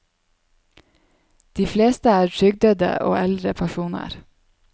De fleste er trygdede og eldre personer.